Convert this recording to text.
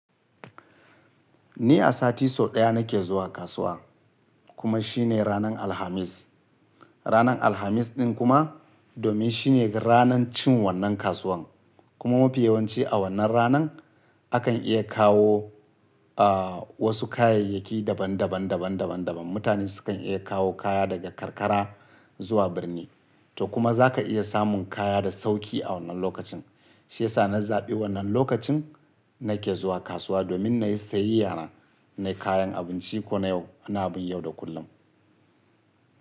Ni a sati sau ɗaya nake zuwa kasuwa kuma shine ranar Alhamis. Ranar Alhamis ɗin kuma domin shine ranar cin wannan kasuwan kuma mafi yawanci a wannan ranan akan iya kawo, wasu kayayyaki daban daban, daban daban daban. Mutane su kan iya kawo kaya daga karkara zuwa birni to kuma zaka iya samun kaya da sauki a wannan lokacin. Shi yasa na zaɓi wannan lokacin nake zuwa kasuwa domin na yi sayayyana. Na kayan abinci ko na yau, ana bin yau da kullum.